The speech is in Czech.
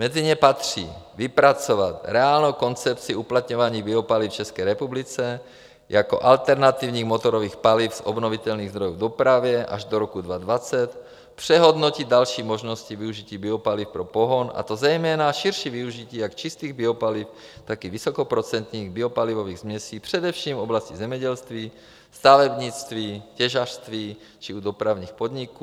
Mezi ně patří: vypracovat reálnou koncepci uplatňování biopaliv v České republice jako alternativních motorových paliv z obnovitelných zdrojů v dopravě až do roku 2020; přehodnotit další možnosti využití biopaliv pro pohon, a to zejména širší využití jak čistých biopaliv, tak i vysokoprocentních biopalivových směsí především v oblasti zemědělství, stavebnictví, těžařství či u dopravních podniků;